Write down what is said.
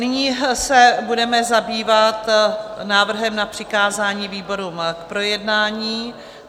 Nyní se budeme zabývat návrhem na přikázání výborům k projednání.